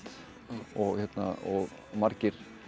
og og margir